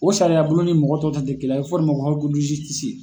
O sariyabulon ni mɔgɔ tɔ taa tɛ kelen ye, a bɛ fɔ o de man ko